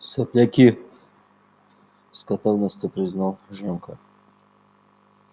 сопляки с готовностью признал женька